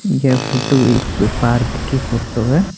यह फोटो एक पार्क की फोटो हैं।